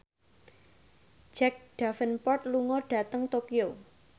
Jack Davenport lunga dhateng Tokyo